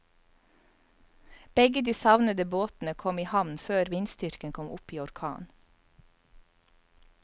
Begge de savnede båtene kom i havn før vindstyrken kom opp i orkan.